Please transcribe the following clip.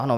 Ano.